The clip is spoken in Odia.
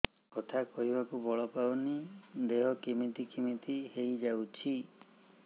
କଥା କହିବାକୁ ବଳ ପାଉନି ଦେହ କେମିତି କେମିତି ହେଇଯାଉଛି